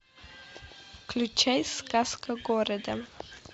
включай сказка города